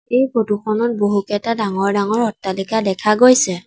এই ফটো খনত বহুকেইটা ডাঙৰ ডাঙৰ অট্টালিকা দেখা গৈছে।